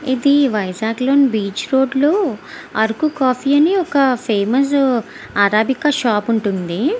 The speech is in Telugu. ఇది వైజాగ్ లోని బీచ్ రోడ్ లో ఆరకు కాఫీ అని ఒక ఫేమస్ అరాబిక షాప్ ఉంటుంది.